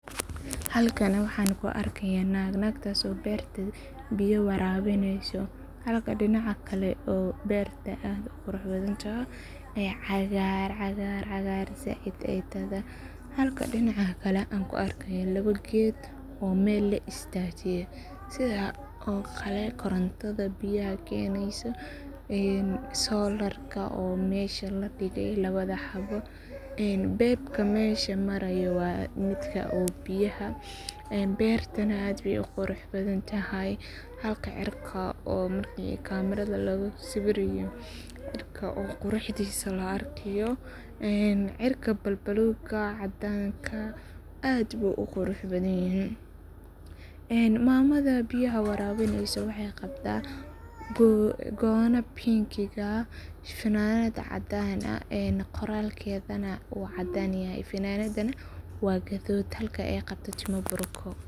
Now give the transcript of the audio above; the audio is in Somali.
Halkani waxan kuu arkaya nag nagtas oo berta biya warabinayso halka dinaca kale oo berta aad uquraxbadantoho ee cagar cagar said aay toho, halka dinaca kale an kuu arkayo labo ged oo mel laa istajiye, sidhaa koo qalel korontada biyaha keneyso solarka oo mesha ladigey, laabada xabo en bebka mesha marayo waa godga oo biyaha en bertanah aad bay uquraxbadantahay, halka cirka oo marki camerada lagu sibiraye cirka oo quraxdisa laa arkayo cirka balbaluka cadanka aad buu uqurax badanyahay, en mamada biyaha warabineyso waxay qabta gono pinkiga ah, fananad cadan ah qoralkeda nah uu cadan yahay fananada nah waa gadud halka aay qabbto timo bruko.